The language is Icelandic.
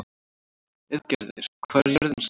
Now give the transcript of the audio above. Auðgeir, hvað er jörðin stór?